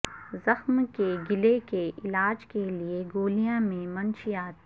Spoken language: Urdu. زخم کے گلے کے علاج کے لئے گولیاں میں منشیات